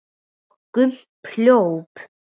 Og Gump hljóp!